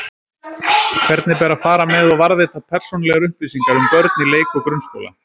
Hvernig ber að fara með og varðveita persónulegar upplýsingar um börn í leik- og grunnskóla?